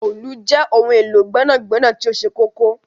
Òòlù jẹ ohun elo gbẹnagbẹna ti oṣẹ kọkọ.